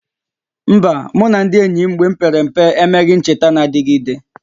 Mba, mụ na ndị enyi m mgbe m pere mpe emeghị ncheta na-adịgide